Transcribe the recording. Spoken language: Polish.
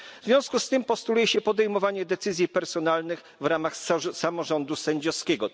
W związku z tym postuluje się podejmowanie decyzji personalnych w ramach samorządu sędziowskiego.